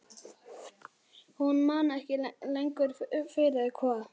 Hún man ekki lengur fyrir hvað.